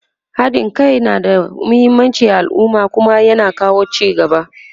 haɗin Kai na da muhimmanci a alumma Kuma ya na kawo ci gaba